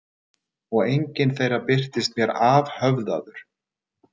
Og enginn þeirra birtist mér afhöfðaður.